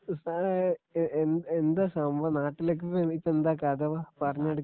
ഇപ്പ ആ എ എ എന്താ സംഭവം എന്താ നാട്ടിലൊക്കെ ഇപ്പൊ എന്താ കഥ പറഞ്ഞുകൊടുക്കലി